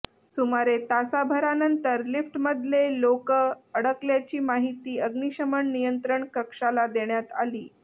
सुमारे तासाभरानंतर लिफ्टमधले लोक अडकल्याची माहिती अग्निशमन नियंत्रण कक्षाला देण्यात आली